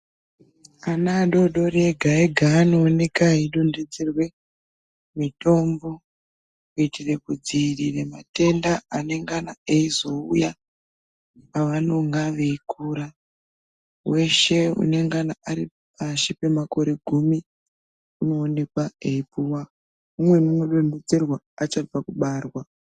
Ana adodori ega ega anooneka eidonhodzerwe, mitombo kuitire kudziwirire matenda anenge eizouya pawanenga weikura, weshe anenge ari pashi pemakore gumi, unoonekwa eipuwa, umweni unodonhedzerwa achabva kubarwa.